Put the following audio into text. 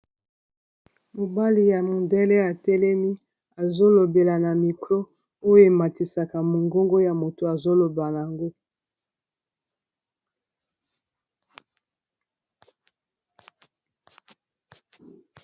Mobali ya mondele atelemi, azo lobela na micro oyo ematisaka mongongo ya moto azo loba nango.